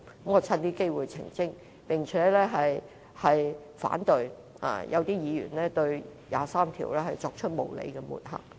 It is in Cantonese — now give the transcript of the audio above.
我趁此機會作出澄清，並反對一些議員對第二十三條立法作無理的抹黑。